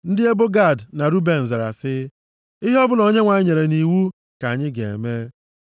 Ndị ebo Gad na Ruben zara sị, “Ihe ọbụla Onyenwe anyị nyere nʼiwu ka anyị ga-eme.